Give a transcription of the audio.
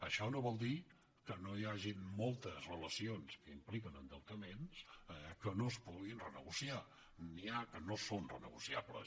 això no vol dir que no hi hagin moltes relacions que impliquen endeutaments que no es puguin renegociar n’hi ha que no són renegociables